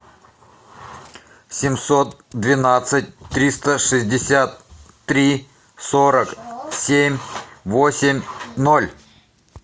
семьсот двенадцать триста шестьдесят три сорок семь восемь ноль